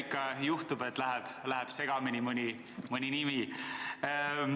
Ikka juhtub, et läheb segamini mõni nimi.